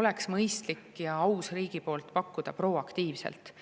oleks mõistlik ja aus riigil pakkuda proaktiivselt.